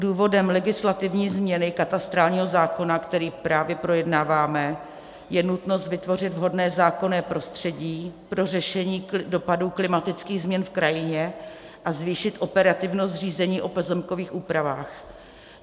Důvodem legislativní změny katastrálního zákona, který právě projednáváme, je nutnost vytvořit vhodné zákonné prostředí pro řešení dopadů klimatických změn v krajině a zvýšit operativnost řízení o pozemkových úpravách.